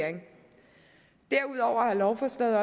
lovforslaget